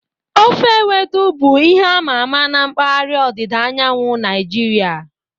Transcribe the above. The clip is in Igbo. Ofe ewedu bụ ihe a ma ama na mpaghara ọdịda anyanwụ Naijiria.